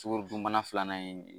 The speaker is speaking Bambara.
Sukoro dunbana filanan ye